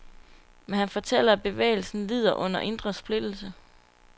Men han fortæller, at bevægelsen lider under indre splittelse.